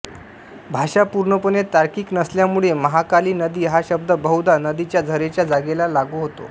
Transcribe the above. भाषा पूर्णपणे तार्किक नसल्यामुळे महांकाली नदी हा शब्द बहुधा नदीच्या झरेच्या जागेला लागू होतो